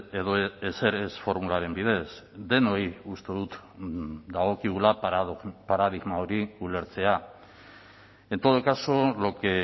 edo ezer ez formularen bidez denoi uste dut dagokigula paradigma hori ulertzea en todo caso lo que